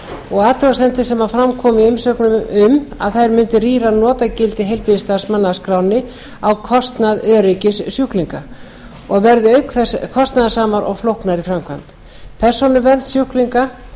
og athugasemdir sem fram komu í umsögnum um að þær muni rýra notagildi heilbrigðisstarfsmanna af skránni á kostnað öryggis sjúklinga og verði auk þess kostnaðarsamar og flóknar í framkvæmd persónuvernd sjúklinga